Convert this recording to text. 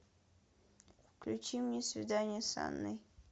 включи мне свидание с анной